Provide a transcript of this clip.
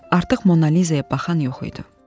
Artıq Monaliza-ya baxan yox idi.